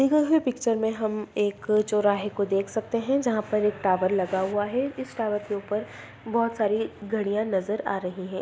दी गयी हुई पिक्चर में हम एक चौराहे को देख सकते हैं जहाँ पर एक टावर लगा हुआ है इस टावर के ऊपर बहुत सारी घड़ियां नजर आ रही है।